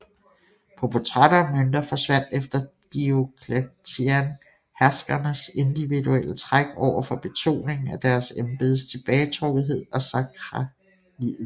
På portrætter og mønter forsvandt efter Diocletian herskernes individuelle træk over for betoningen af deres embedes tilbagetrukkethed og sakralitet